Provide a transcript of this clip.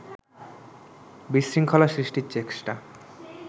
বিশৃঙ্খলা সৃষ্টির চেষ্টা